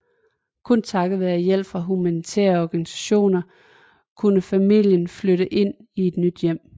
Kun takket være hjælp fra humanitære organisationer kunne famlien flytte ind i et nyt hjem